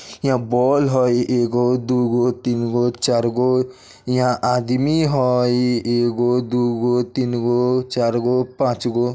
इहां बौल हई एगो दू गो तीन गो चार गो इंहा आदमी हइ एगो दुगो तीन गो चार गो पाँच गो।